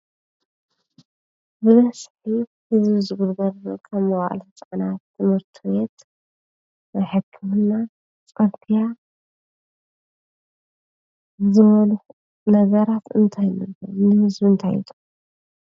ብበዝሒ ሕዝቢ ዝግልገሎሎም መዓል ህፃናት ቤት ትምርቱት ሕክምና ፂርግያ ዘበሉ ነገራት እንታይ ንህዝቢ እንታይ ይጠቁሙ?